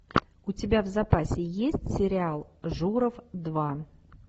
у тебя в запасе есть сериал журов два